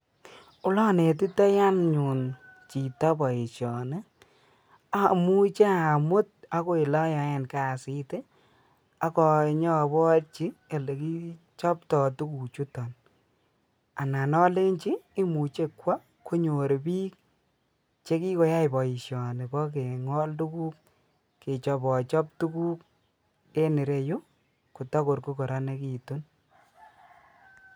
Olanetitoi anyun chito boisioni, amuche amut agoi olayoen kasit ak anyoborchi olekichopto suguchuton anan alenchi imuche kwo konyor biik chekikoyai boisioni bo kingol tuguk kechobachob tuguk en ireyu kotogor ko kororonegitu.